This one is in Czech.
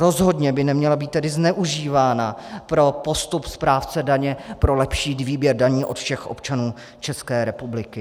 Rozhodně by neměla být tedy zneužívána pro postup správce daně pro lepší výběr daní od všech občanů České republiky.